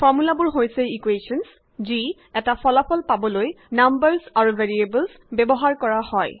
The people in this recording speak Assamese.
ফৰ্মূলাবোৰ হৈছে ইকুৱেশ্যনে যি এটা ফলাফল পাবলৈ নাম্বাৰে আৰু ভেৰিয়েবলে ব্যৱহাৰ কৰা হয়